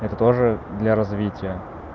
это тоже для развития